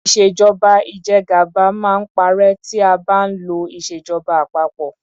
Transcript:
Ìṣèjọba ìjẹgàba máa ń parẹ́ tí a bá ń lo ìṣèjọba àpapọ.